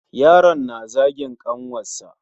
Yaron na zagin ƙanwarsa.